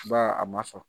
Ba a ma sɔn